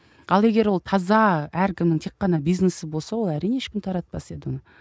ал егер ол таза әркімнің тек қана бизнесі болса ол әрине ешкім таратпас еді оны